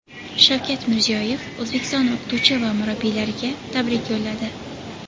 Shavkat Mirziyoyev O‘zbekiston o‘qituvchi va murabbiylariga tabrik yo‘lladi .